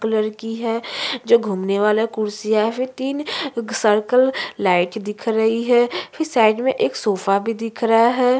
वो लड़की है जो घूमने वाला कुर्सी है या फिर तीन सर्कल लाइट दिख रही है फिर साइड में एक सोफा भी दिख रहा है।